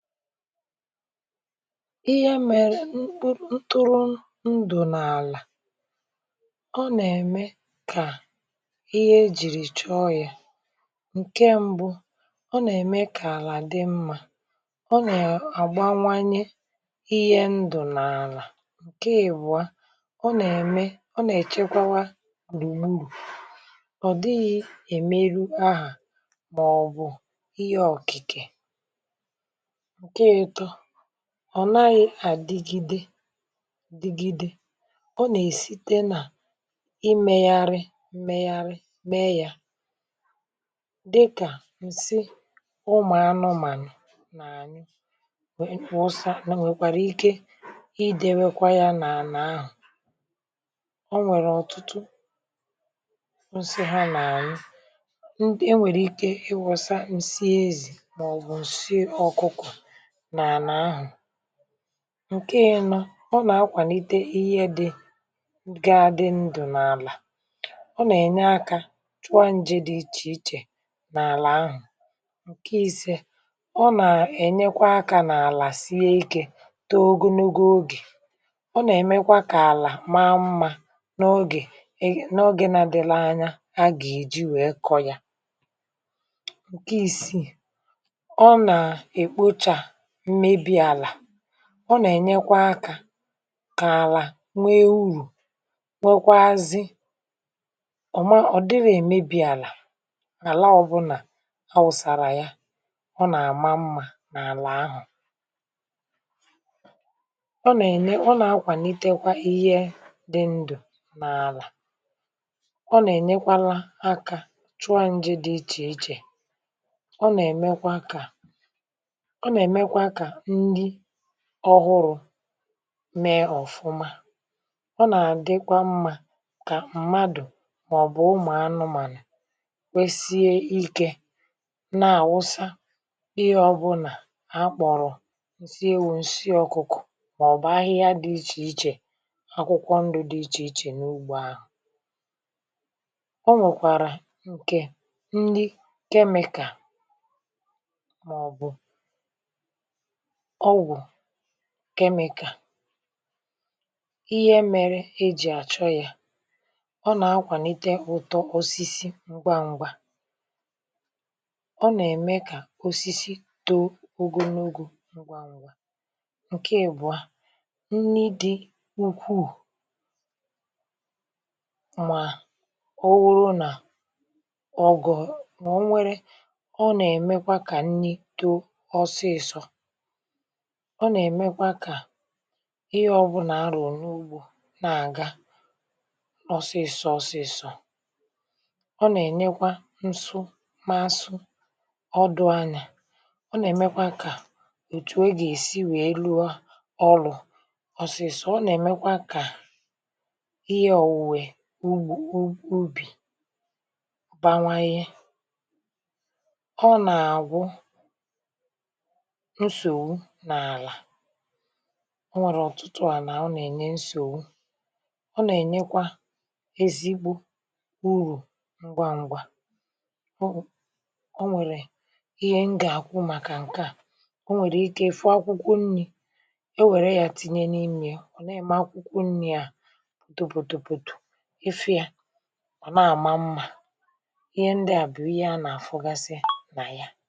ihe a mèrè ntụrụ ndù n’àlà um ọ nà-ème kà ihe ejìrì chọọ ya ǹke mbụ ọ nà-ème kà àlà dị mmȧ ọ nà-àgbanwanye ihe ndù n’àlà ǹke ìbụ̀a ọ nà-ème ọ nà-èchekwa gbùrù ọ̀ dịghị èmeru ahà màọbụ̀ ihe ọ̀kìkè ọ̀ naghị̇ àdigide digide ọ nà-èsite nà imėgharị mmėgharị mee ya dịkà ǹsị ụmụ̀anụmànụ̀ n’ànyị wusa nwèkwàrà ike idėwėkwa ya nà ànà ahụ̀ ọ nwèrè ọ̀tụtụ ǹsị ha n’ànyị e nwèrè ike ịwọ̇sȧ ǹsị ezi̇ nàọ̀bụ̀ ǹsị ọkụkọ̀ ǹke nọ um ọ nà-akwànite ihe dị ga dị ndụ̀ n’àlà ọ nà-ènye aka chọọ njị̇ dị ichè ichè n’àlà ahụ̀ ǹke isė ọ nà-ènyekwa akȧ n’àlà sie ikė togo nugȯ ogè ọ nà-èmekwa kà àlà maa mmȧ n’ogè n’oge nȧ dịlȧ anya a gà-èji wèe kọ̇ yȧ ǹke isi ọ nà-ènyekwa akȧ kà àlà nwee urù nwekwaazi ọ̀ ma ọ̀ dịrị èmebi̇ àlà àla ọbụlà awụ̀sàrà ya ọ nà-àma mmȧ n’àlà ahụ̀ ọ nà-ènye ọ nà-akwànitekwa ihe dị ndụ̀ n’àlà ọ nà-ènyekwala akȧ chụọ njiri dị ichè ichè ọ nà-èmekwa akȧ ndị ọhụrụ mee ọ̀fụma ọ nà-àdịkwa mmȧ kà mmadù màọbụ̀ ụmụ̀anụmànà kwesie ikė nà-àwụsa ihe ọbụlà akpọ̀rọ̀ ǹsị ewu ǹsị ọkụkọ̀ màọbụ̀ ahịhịa dị ichè ichè akwụkwọ ndụ dị ichè ichè n’ugbȯ ahụ̀ ọ nwèkwàrà ǹkè ndị chemical màọbụ̀ ọgwụ̀ chemical ihe mere e ji achọ ya ọ nà-akwànite ụ̀tọ ọsịsị ngwa ṅgwȧ ọ nà-ème kà osisi too ogonogȯ ǹke èbụ̀a nni dị n’ùkwuù mà òwuru nà ọ̀gọ̀ mà ọ̀ nwere ọ nà-èmekwa kà nni too ọsịsọ ọ nà-èmekwa kà ihe ọ̀bụ̀nà a rùrù n’ugbȯ na-àga ọ̀sịsọ̇ ọ̀sịsọ̇ um ọ nà-ènyekwa nsu masu ọ dụ̇ anyȧ ọ nà-èmekwa kà òtù egà-èsi wèe lụa ọrụ̇ ọ̀sịsọ̇ ọ nà-èmekwa kà ihe òwè ugbȯ ubì bawanyė ọ nà àgwụ o nwèrè ọ̀tụtụ à nà ọ nà-ènye nsòwu ọ nà-ènyekwa ezigbo urù ǹgwangwa ọọ ọ nwèrè ihe m gà-àkwụ màkà ǹke à ọ nwèrè ike ị̀fụ akwụkwọ nni̇ e wère yȧ tinye n’imė ya ọ̀ nà-ème akwụkwọ nni̇ à òtopòtòpòtò efe yȧ ọ̀ na-àma mmȧ ihe ndịà bụ̀ ihe a nà-àfụgasị nà ya